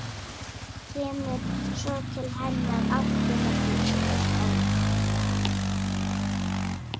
Kemur svo til hennar aftur með fingur á lofti.